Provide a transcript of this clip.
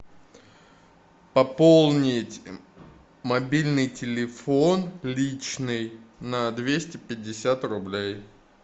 пополнить мобильный телефон личный на двести пятьдесят рублей